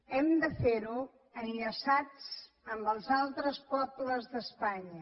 hem de fer ho enllaçats amb els altres pobles d’espanya